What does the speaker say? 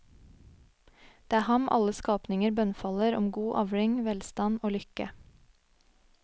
Det er ham alle skapninger bønnfaller om god avling, velstand og lykke.